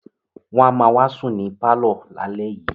Wọ́n á ma wá sùn ní pálọ̀ lálẹ́ yìí